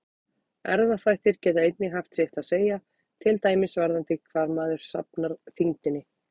Erfðaþættir geta einnig haft sitt að segja, til dæmis varðandi hvar maður safnar þyngdinni.